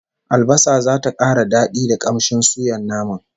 Albasa zata kara dadi da kamshin suyan naman